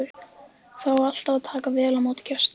Það á alltaf að taka vel á móti gestum.